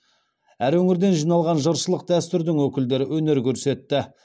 әр өңірден жиналған жыршылық дәстүрдің өкілдері өнер көрсетті